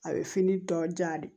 A bɛ fini dɔ diyan de